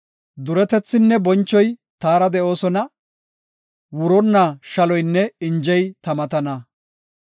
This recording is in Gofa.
Duretethinne bonchoy taara de7oosona; wuronna shaloynne injey ta matana.